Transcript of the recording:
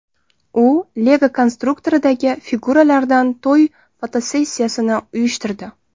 U Lego konstruktoridagi figuralardan to‘y fotosessiyasini uyushtirdi.